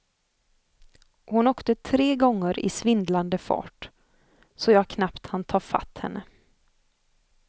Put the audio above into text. Hon åkte tre gånger i svindlande fart, så jag knappt hann ta fatt henne.